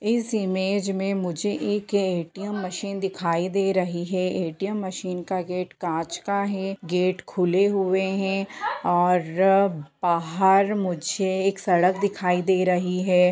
इस इमेज में मुझे एक ए टी यम मशीन दिखाई दे रही है ए टी यम का गेट काँच का है गेट खुले हुए है बाहर मुझे एक सड़क दिखाई दे रही है।